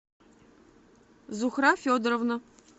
зухра федоровна